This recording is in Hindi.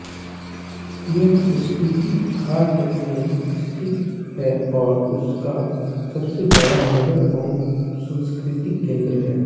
यह स्पीति घाटी में स्थित है और उसका सबसे बड़ा नगर व सांस्कृतिक केन्द्र है